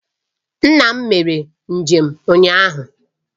Nna m mere njem ụnyahụ